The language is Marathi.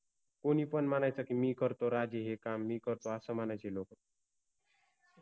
कोनि पन मनायचा कि मि करतो राजे हे काम मि करतो अस मनायचे लोक